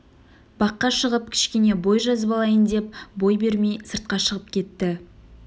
баққа шығып кішкене бой жазып алайын деп бой бермей сыртқа шығып кетті